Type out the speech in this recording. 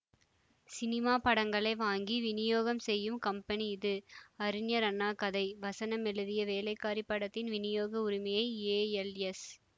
cinema படங்களை வாங்கி விநியோகம் செய்யும் கம்பெனி இது அறிஞர் அண்ணா கதை வசனம் எழுதிய வேலைக்காரி படத்தின் விநியோக உரிமையை ஏஎல்எஸ்